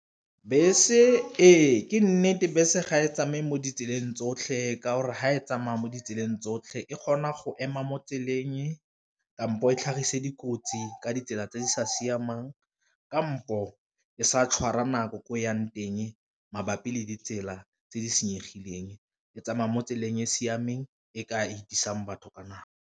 Bese ee ke nnete bese ga e tsamaya mo ditseleng tsotlhe ka gore fa e tsamaya mo ditseleng tsotlhe e kgona go ema mo tseleng kampo e tlhagise dikotsi ka ditsela tse di sa siamang, kampo e sa tshwara nako ko yang teng mabapi le ditsela tse di senyegileng e tsamaya mo tseleng e siameng e ka 'itlhisang batho ka nako.